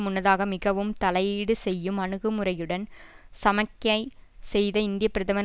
முன்னதாக மிகவும் தலையீடு செய்யும் அனுகுமுறையுடன் சமிக்ஞை செய்த இந்திய பிரதமர்